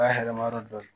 Ba hɛrɛ ma yɔrɔ dɔn